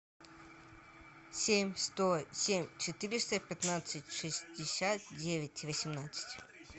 семь сто семь четыреста пятнадцать шестьдесят девять восемнадцать